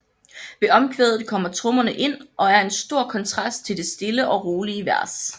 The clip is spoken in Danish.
Ved omkvædet kommer trommerne ind og er en stor kontrast til det stille og rolige vers